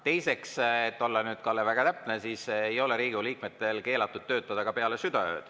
Teiseks, et olla nüüd, Kalle, väga täpne, siis Riigikogu liikmetel ei ole keelatud töötada ka peale südaööd.